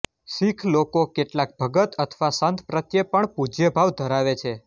શીખ લોકો કેટલાક ભગત અથવા સંત પ્રત્યે પણ પૂજ્યભાવ ધરાવે છે